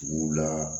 Tuguw la